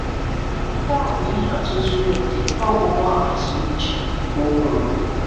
"Nke a bụ ihe atụ zuru oke nke ọgwụgwọ ahaziri iche," ka ọ kwuru.